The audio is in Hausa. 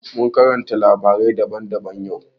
Mun karanta labarai na dabba yau.